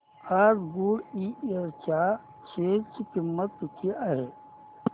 आज गुडइयर च्या शेअर ची किंमत किती आहे